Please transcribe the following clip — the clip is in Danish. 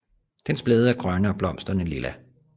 Dens blade er grønne og blomsterne lilla